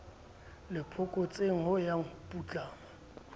le phokotsehong ya ho putlama